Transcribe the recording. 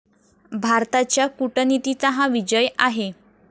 भारताच्या कूटनीतीचा हा विजय आहे.